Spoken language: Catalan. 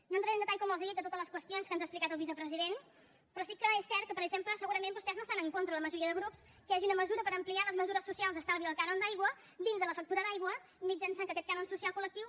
no entraré en detall com els he dit de totes les qüestions que ens ha explicat el vicepresident però sí que és cert que per exemple segurament vostès no estan en contra la majoria de grups que hi hagi una mesura per ampliar les mesures socials d’estalvi del cànon d’aigua dins de la factura d’aigua mitjançant que aquest cànon social col·lectiu